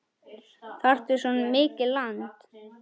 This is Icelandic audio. Þarftu svona mikið land?